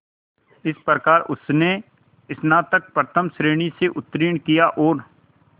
इस प्रकार उसने स्नातक प्रथम श्रेणी से उत्तीर्ण किया और